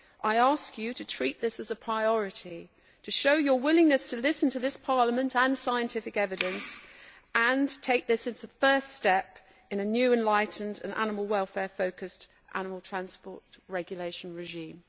I ask you to treat this as a priority, to show your willingness to listen to this Parliament and to scientific evidence, and to take this as a first step in a new, enlightened and animal welfare focused animal transport regulation regime.